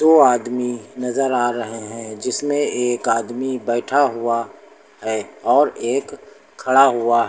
दो आदमी नजर आ रहे हैं जिसमें एक आदमी बैठा हुआ है और एक खड़ा हुआ है।